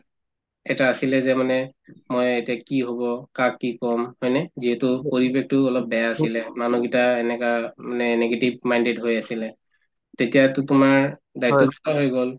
এটা আছিলে যে মানে ময়ে এতিয়া কি হব কাক কি কম হয়নে যিহেতু পৰিৱেশটো অলপ বেয়া আছিলে মানুহ কেইটা এনেকা উম মানে negative minded হৈ আছিলে তেতিয়াতো তোমাৰ দায়িত্ব দুটা হৈ গল